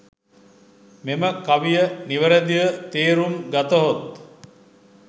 මෙම කවිය නිවැරැදිව තේරුම් ගතහොත්